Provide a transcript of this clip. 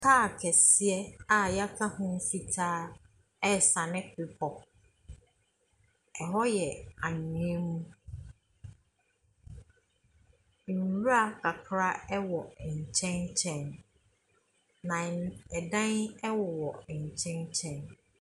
Kaa kɛseɛ a wɔaka ho fitaa resiane bepɔ. Ɛhɔ yɛ anwea mu. Nwura kakra wɔ nkyɛn nkyɛn, na n . Ɛdan wowɔ nkyɛn nkyɛn.